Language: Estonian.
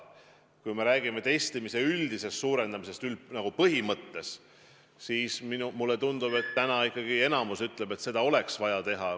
Kui me aga räägime testimise üldisest suurendamisest kui põhimõttest, siis mulle tundub, et täna ikkagi enamik ütleb, et seda oleks vaja teha.